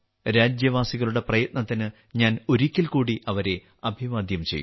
രാജ്യവാസികളുടെ പ്രയത്നത്തിന് ഞാൻ ഒരിക്കൽ കൂടി അവരെ അഭിവാദ്യം ചെയ്യുന്നു